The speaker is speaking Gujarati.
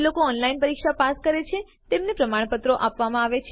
જેઓ ઓનલાઇન પરીક્ષા પાસ કરે છે તેમને પ્રમાણપત્રો પણ આપવામાં આવે છે